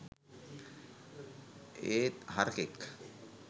ඒත් හරකෙක්